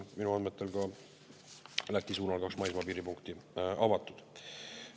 Minu andmetel on ka Läti suunal kaks maismaapiiripunkti avatud.